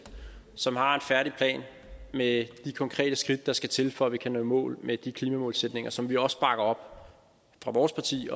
som har en færdig plan med de konkrete skridt der skal til for at vi kan nå i mål med de klimamålsætninger som vi også bakker op fra vores partis